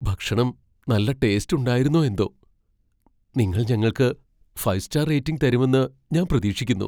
ഭക്ഷണം നല്ല ടേസ്റ്റ് ഉണ്ടായിരുന്നോ എന്തോ? നിങ്ങൾ ഞങ്ങൾക്ക് ഫൈവ് സ്റ്റാർ റേറ്റിംഗ് തരുമെന്ന് ഞാൻ പ്രതീക്ഷിക്കുന്നു.